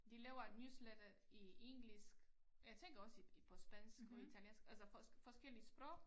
De laver et newsletter i engelsk og jeg tænker også i på spansk og italiensk altså forskellige sprog